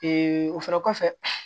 o fɛnɛ kɔfɛ